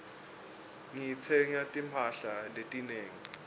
ngitsenge timphahla letinengi